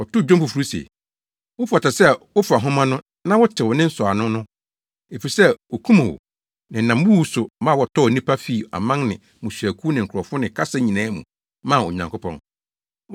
Wɔtoo dwom foforo se, “Wofata sɛ wofa nhoma no na wotew ne nsɔwano no. Efisɛ wokum wo, na ɛnam wo wu so ma wɔtɔɔ nnipa fii aman ne mmusuakuw ne nkurɔfo ne kasa nyinaa mu maa Onyankopɔn.